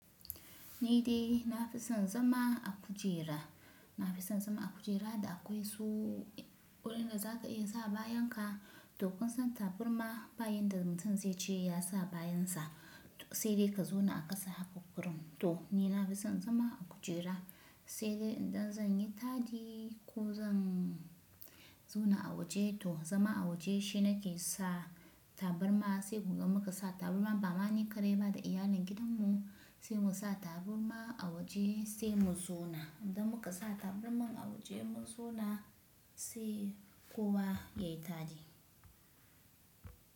Ni dai na fi son zama a kujera, na fi son zama a kujera da akwai su wurin da za ka iya sa bayan ka. To kun san tabarma ba yanda mutum zai ce ya sa bayan sa sai dai ka zauna a ƙasa haka kurun. To ni na fi son zama a kujera sai dai idan zan yi taɗi ko zan zauna a waje. To zama a waje shi na ke sa tabarma sai mu gan mu ka sa tabarma ba ma ni kaɗai ba da iyalin gidan mu sai mu sa tabarma a waje sai mu zauna. Idan muka sa tabarma a waje mu zauna sai kowa ya yi taɗi.